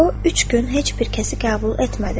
O üç gün heç bir kəsi qəbul etmədi.